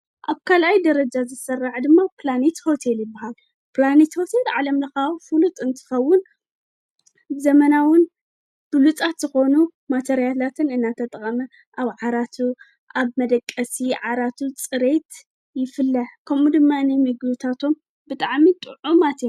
ኣብ ካልኣይ ደረጃ ዝስራዕ ድማ ፕላኔት ሆቴል ይባሃል። ፕላኔት ሆቴል ዓለምለኻ ፍሉጥ እንትኸውን፣ ዘመናዊ ብሉፃት ዝኮነ ማቴርያላትን እናተጠቀመ ኣብ ዓራቱ ኣብ መደቀሲ ዓራቱ ፅሬት ይፍለ ከምኡ ድማ ምግብታቶም ብጣዕሚ ጥዑማት እዮም።